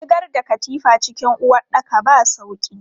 Shigar da katifa cikin uwaɗɗaka ba sauƙi.